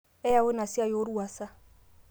eyaua ina siai orwuasa